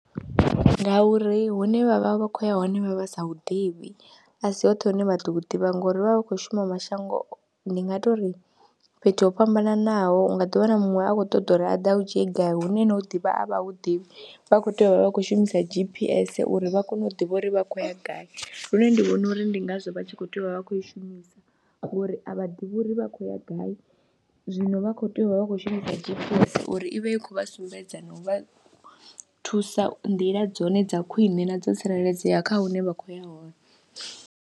Ngauri huṋe vha vha vha khou ya hone vha vha sa hu ḓivhi a si hoṱhe hune vha ḓo ḓivha ngori vha vha vha kho shuma mashango, ndi nga tou ri fhethu ho fhambananaho u nga ḓi wana muṅwe a khou ṱoḓa uri a ḓe a u dzhie gai hune na hu ḓivha a vha hu ḓivhi, vha khou tea u vha vha khou shumisa G_P_S uri vha kone u ḓivha uri vha khou ya gai lune ndi vhona uri ndi ngazwo vha tshi khou tea u vha vha khou i shumisa ngori a vha ḓivhi uri vha khou ya gai zwino vha khou tea u vha vha kho shumisa G_P_S uri i vha i khou vha sumbedza na u vha thusa nḓila dzone dza khwiṋe na dzo tsireledzea kha hune vha khou ya hone.